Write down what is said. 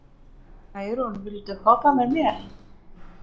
Særún, viltu hoppa með mér?